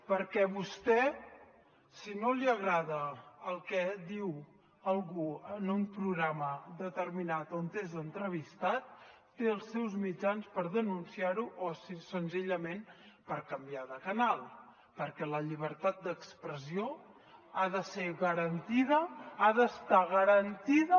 perquè vostè si no li agrada el que diu algú en un programa determinat on és entrevistat té els seus mitjans per denunciar ho o senzillament per canviar de canal perquè la llibertat d’expressió ha d’estar garantida